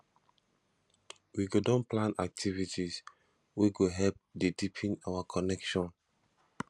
we go don plan activities wey go help dey deepen our connection